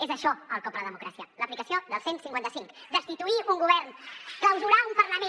és això el cop a la democràcia l’aplicació del cent i cinquanta cinc destituir un govern clausurar un parlament